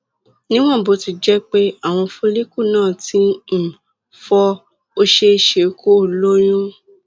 níwọn bó ti jẹ pé àwọn follicle náà ti um fọ ó ṣeé ṣe kó o lóyún